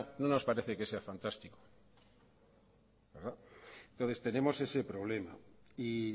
no nos parece que sea fantástico entonces tenemos ese problema y